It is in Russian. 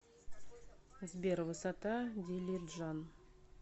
сбер высота дилиджан